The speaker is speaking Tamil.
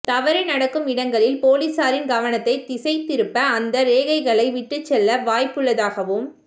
தவறு நடக்கும் இடங்களில் போலீசாரின் கவனத்தை திசை திருப்ப அந்த ரேகைகளை விட்டுச்செல்ல வாய்ப்புள்ளதாகவும்